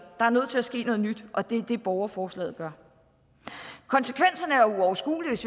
er nødt til at ske noget nyt og det er det borgerforslaget gør konsekvenserne er uoverskuelige hvis